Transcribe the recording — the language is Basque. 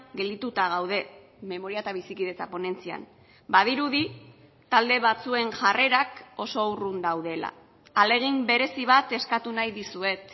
geldituta gaude memoria eta bizikidetza ponentzian badirudi talde batzuen jarrerak oso urrun daudela ahalegin berezi bat eskatu nahi dizuet